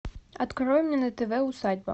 открой мне на тв усадьба